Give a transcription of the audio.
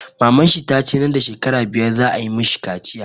Maman shi tace nan da shekara biyar za a yi mashi kaciya